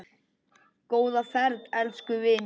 Góða ferð, elsku vinur.